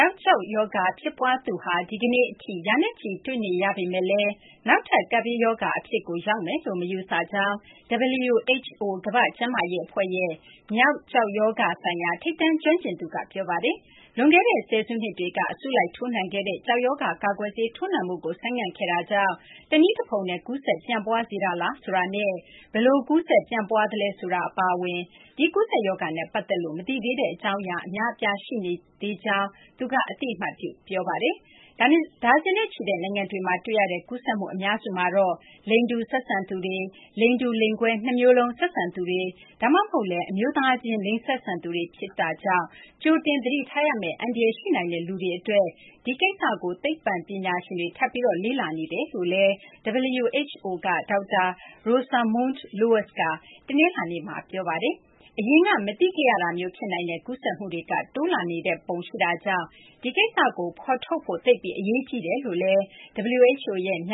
ောက် ကျောက်ရောဂါ ဖြစ်ပွားသူဟာ ဒီကနေ့ အထိ ရာနဲ့ချီ တွေ့နေရပေမယ့်လည်း နောက်ထပ် ကပ်ဘေးရောဂါ အဖြစ်ကို ရောက်မယ်လို့ မယူဆကြောင်း WHO ကမ ္ဘာ့ကျန်းမာရေး အဖွဲ့ရဲ့ မျောက် ကျောက်ရောဂါ ဆိုင်ရာ ထိပ်တန်း ကျွမ်းကျင်သူက ပြောပါတယ်။ လွန်ခဲ့တဲ့ ဆယ်စုနှစ်တွေက အစုလိုက် ထိုးနှံခဲ့တဲ့ ကျောက်ရောဂါ ကာကွယ်ဆေး ထိုးနှံမှုကို ဆိုင်းငံ့ခဲ့တာကြောင့် တနည်းတဖုံနဲ့ ကူးစက် ပျံ့ပွားစေတာလား ဆိုတာနဲ့ ဘယ်လို ကူးစက် ပျံ့ပွားသလဲ ဆိုတာ အပါအဝင် ဒီ ကူးစက်ရောဂါနဲ့ ပတ်သက်လို့ မသိသေးတဲ့ အကြောင်းအရာ အများအပြား ရှိနေသေးကြောင်း သူက အသိအမှတ်ပြု ပြောပါတယ်။ ဒါဇင်နဲ့ချီတဲ့ နိုင်ငံတွေမှာ တွေ့ရတဲ့ ကူးစက်မှု အများစုမှာတော့ လိင်တူ ဆက်ဆံသူတွေ၊ လိင်တူ လိင်ကွဲ နှစ်မျိုးလုံး ဆက်ဆံသူတွေ ဒါမှမဟုတ်လည်း အမျိုးသားချင်း လိင်ဆက်ဆံသူတွေ ဖြစ်တာကြောင့် ကြိုတင် သတိထားရမယ့် အန္တရာယ် ရှိနိုင်တဲ့ လူတွေ အတွက် ဒီကိစ္စကို သိပ္ပံပညာရှင်တွေ ထပ်ပြီး လေ့လာနေကြောင်း WHO က ဒေါက်တာ Rosamund Lewis က တနလာၤနေ့မှာ ပြောပါတယ်။ အရင်က မသိခဲ့ရတာမျုး ဖြစ်နိုင်တဲ့ ကူးစက်မှုတွေက တိုးလာနေတဲ့ ပုံ ရှိတာကြောင့် ဒီကိစ္စကို ဖော်ထုတ်ဖို့ သိပ်ပြီး အရေးကြီးတယ်လို့လည်း WHO ရဲ့ မ